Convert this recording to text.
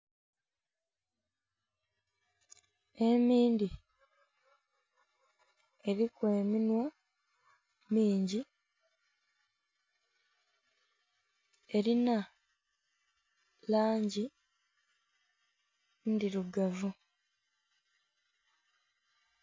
Emindhi eriku eminhwa mingi erinha langi ndhirugavu.